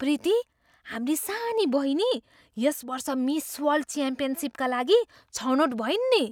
प्रीति! हाम्री सानी बहिनी यस वर्ष मिस वर्ल्ड च्याम्पियनसिपका लागि छनोट भइन् नि!